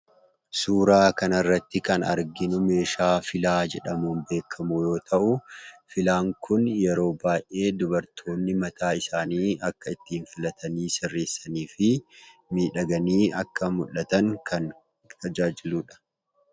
Suuraa kanarratti kan arginu meeshaa filaa jedhamuun beekkamu yoo ta'uu ,filaan kun yeroo baay'ee dubartoonni mataa isaanii akka ittiin filatanii sirreessaniifii miidhaganii akka mul'atan kan tajaajiludha.